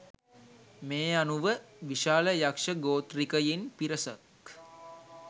මේ අනුව විශාල යක්ෂ ගෝත්‍රිකයින් පිරිසක්